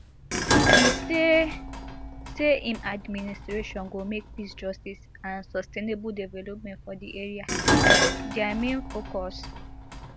e say say im administration go make peace justice and sustainable development for di area dia main focus